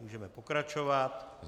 Můžeme pokračovat.